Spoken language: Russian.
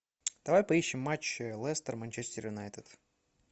давай поищем матч лестер манчестер юнайтед